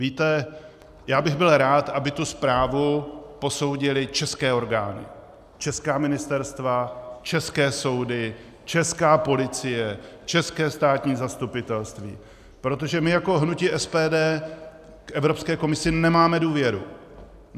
Víte, já bych byl rád, aby tu zprávu posoudily české orgány, česká ministerstva, české soudy, česká policie, české státní zastupitelství, protože my jako hnutí SPD k Evropské komisi nemáme důvěru.